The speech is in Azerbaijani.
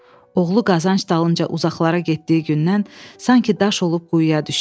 Oğlu qazanc dalınca uzaqlara getdiyi gündən sanki daş olub quyuya düşdü.